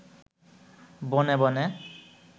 বনে বনে